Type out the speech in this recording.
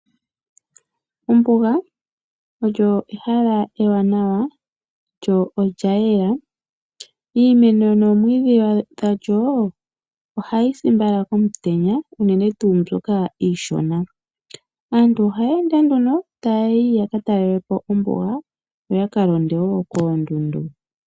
Ombuga olyo ehala ewanawa lyo olya yela. Iimeno noomwiidhi dhalyo ohayi si mbala komutenya unene tuu mbyoka iishona. Aantu oha ye ende nduno ta yayi yaka talelapo ombuga yoyaka londe wo koondundu.